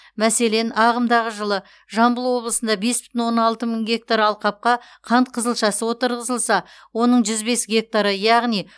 мәселен ағымдағы жылы жамбыл облысында бес бүтін оннан алты мың гектар алқапқа қант қызылшасы отырғызылса оның жүз бес гектары яғни